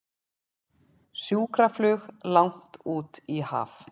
Sjúkraflug langt út í haf